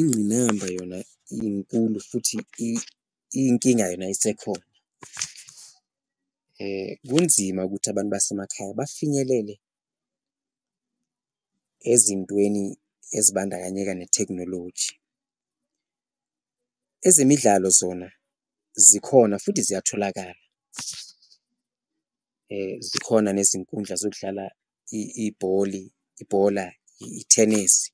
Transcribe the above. Ingqinamba yona inkulu futhi iyinkinga yona isekhona kunzima ukuthi abantu basemakhaya bafinyelele ezintweni ezibandakanyeka nethekhnoloji, ezemidlalo zona zikhona futhi ziyatholakala, zikhona nezinkundla zokudlala ibholi, ibhola, ithenesi